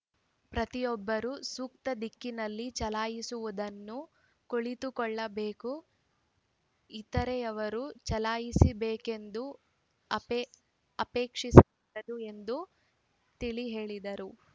ಪ್ರತಿಯೊಬ್ಬರೂ ಸೂಕ್ತ ದಿಕ್ಕಿನಲ್ಲಿ ಚಲಾಯಿಸುವುದನ್ನು ಕುಳಿತುಕೊಳ್ಳಬೇಕು ಇತರೆಯವರು ಚಲಾಯಿಸಬೇಕೆಂದು ಅಪೇಕ್ಷಿಸಬಾರದು ಎಂದು ತಿಳಿ ಹೇಳಿದರು